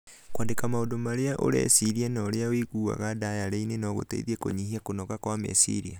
Kwandĩka maũndũ marĩa ũreciria na ũrĩa ũiguaga ndayarĩ-inĩ no gũgũteithie kũnyihia kũnoga kwa meciria.